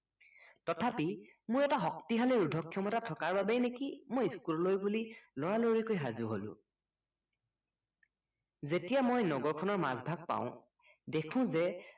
তথাপি মোৰ এটা শক্তিশালী ৰোধ ক্ষমতা থকা বাবেই নেকি মই school লৈ বুলি লৰালৰিকৈ সাজু হলো যেতিয়া মই নগৰ খনৰ মাজভাগ পাওঁ দেখো যে